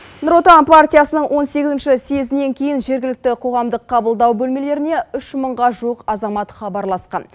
нұр отан партиясының он сегізінші съезінен кейін жергілікті қоғамдық қабылдау бөлмелеріне үш мыңға жуық азамат хабарласқан